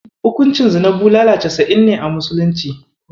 Hukuncin zina bulala casa'in ne a musulunci.